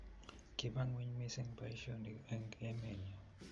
Kiba ng'weny mising boisionik eng' emenyo